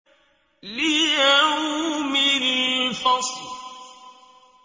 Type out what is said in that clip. لِيَوْمِ الْفَصْلِ